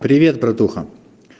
привет братуха